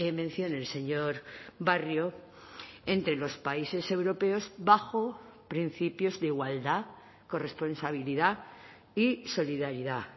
mención el señor barrio entre los países europeos bajo principios de igualdad corresponsabilidad y solidaridad